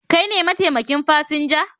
Kai ne mataimakin fasinja?